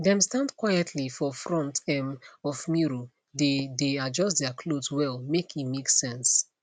dem stand quietly for front um of mirror dae dae adjust their cloth well make e make sense